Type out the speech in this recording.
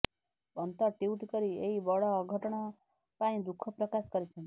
Pant tweet କରି ଏହି ବଡ଼ ଅଘଟଣ ପାଇଁ ଦୁଃଖ ପ୍ରକାଶ କରିଛନ୍ତି